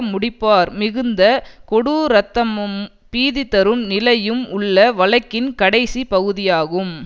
முடிப்பார் மிகுந்த கொடூரத்தமும் பீதிதரும் நிலையும் உள்ள வழக்கின் கடைசிப் பகுதியாகும்